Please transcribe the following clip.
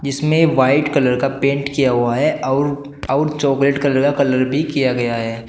इसमें white colour का paint किया हुआ है आउर आउर चॉकलेट कलर का कलर भी किया गया है।